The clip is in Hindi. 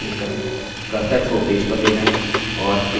cursor को पेज पर ले जाएँ और पेज पर click करें